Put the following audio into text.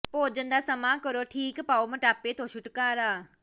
ਭੋਜਨ ਦਾ ਸਮਾਂ ਕਰੋ ਠੀਕ ਪਾਓ ਮੋਟਾਪੇ ਤੋਂ ਛੁਟਕਾਰਾ